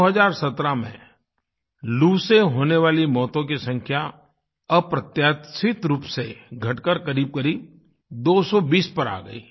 2017 में लू से होने वाली मौतों की संख्या अप्रत्याशित रूप से घटकर क़रीबक़रीब 220 पर आ गई